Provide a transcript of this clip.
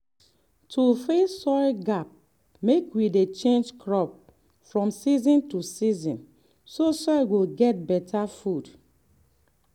to fill soil gap mek we dey change crop from season to season so soil go get better food.